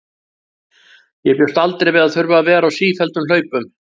Ég bjóst aldrei við að þurfa að vera á sífelldum hlaupum.